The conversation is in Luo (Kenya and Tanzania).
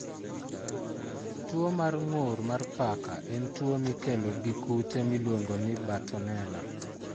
Tuwo mar ng'ur mar paka en tuwo mikelo gi kute miluongo ni bartonella.